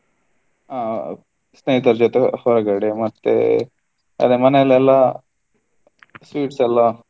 ಹ ಸ್ನೇಹತರ ಜೊತೆ ಹೊರಗಡೆ ಮತ್ತೆ ಅದೇ ಮನೆಲೆಲ್ಲಾ sweets ಎಲ್ಲ.